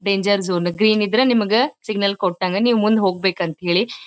Danger zone green ಇದ್ರ ನಿಮ್ಗ signal ಕೊಟ್ಟನ ನೀವ್ ಮುಂದ ಹೋಗ್ಬೇಕ ಅಂತ ಹೇಳಿ .]